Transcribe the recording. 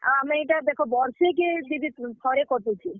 ଆଉ ଆମେ ଇଟା ଦେଖ ବର୍ଷେ କେ ଥରେ କଟୁଛେ।